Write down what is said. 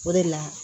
O de la